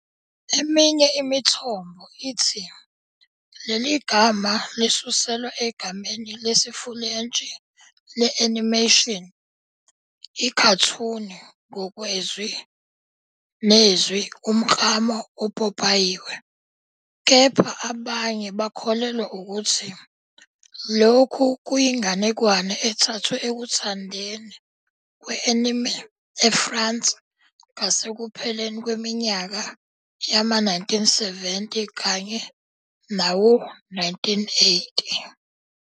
Eminye imithombo ithi leli gama lisuselwa egameni lesiFulentshi le-animation, "ikhathuni", ngokwezwi nezwi 'umklamo opopayiwe', kepha abanye bakholelwa ukuthi lokhu kuyinganekwane ethathwe ekuthandweni kwe-anime eFrance ngasekupheleni kweminyaka yama-1970 kanye nawo-1980.